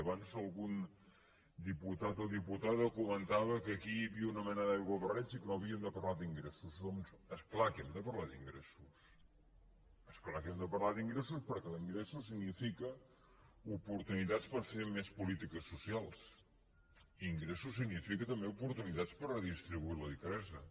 abans algun diputat o diputada comentava que aquí hi havia una mena d’aiguabarreig i que no havíem de parlar d’ingressos doncs és clar que hem de parlar d’ingressos és clar que hem de parlar d’ingressos perquè ingressos significa oportunitats per fer més polítiques socials ingressos significa també oportunitats per redistribuir la riquesa